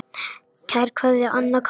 Kær kveðja, Anna Karín.